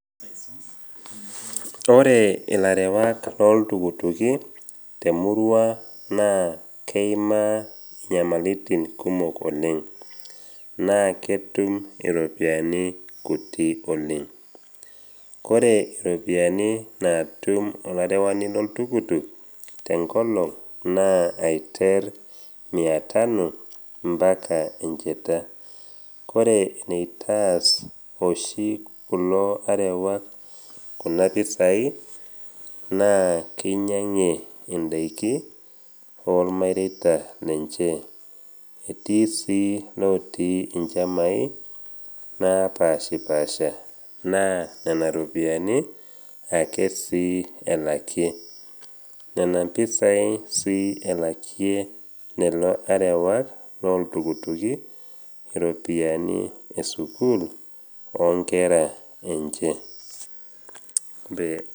Ore ilarewak loltukutuki temurua naa keimaa inyamaliritin kumok oleng naa ketum iropiani kutik oleng. Kore iropiani naatum olarewani loltukutuk tenkolong naa aiter mia tano mpaka encheta. Ore eneitaas oshi kulo arewak kuna pisai naa keinyang'ie indaiki olmareta lenche, etii sii lotii inchamai naapaashipaasha naa nena ropiani ake sii elakie. Nena pisai sii ake elakie lelo arewak loltukutuki iropiani e sukuul o nkera enche.